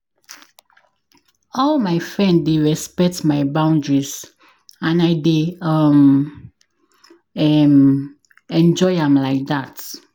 All my frend dey respect my boundaries, and I dey um um enjoy am like dat.